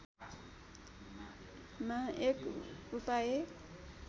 मा एक उपाय